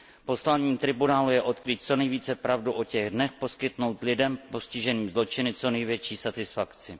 Posláním tribunálu je odkrýt co nejvíce pravdu o těch dnech, poskytnout lidem postiženým zločiny co největší satisfakci.